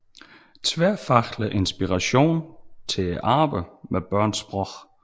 Tværfaglig inspiration til arbejdet med børns sprog